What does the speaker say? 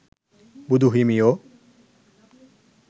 බුදු හිමියෝ